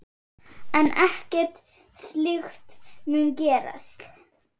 En ekkert slíkt mun gerast.